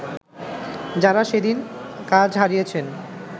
যারা সেদিন কাজ হারিয়েছেন